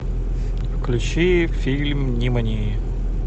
включи фильм нимани